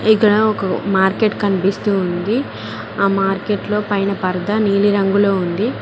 ఇక్కడ ఒక మార్కెట్ కనిపిస్తూ ఉంది ఆ మార్కెట్ లో పైన పరదా నీలి రంగులో ఉంది.